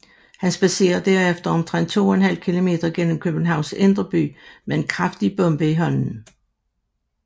Han spadserer derefter omtrent to en halv kilometer gennem Københavns indre by med en kraftig bombe i hånden